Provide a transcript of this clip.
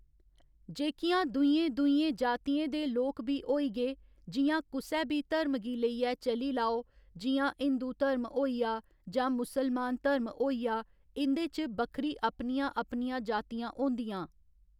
जेह्‌कियां दूइयें दूइयें जातियें दे लोक बी होई गे जियां कुसै बी धर्म गी लेइयै चली लाओ जि'यां हिंदु धर्म होइआ जां मुसलमान धर्म होइआ इं'दे च बक्खरी अपनियां अपनियां जातियां होंदियां